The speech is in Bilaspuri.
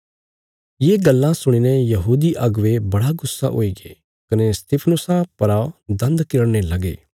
ये गल्लां सुणीने यहूदी अगुवे बड़ा गुस्सा हुईगे कने स्तिफनुसा परा दन्द किरड़ने लगे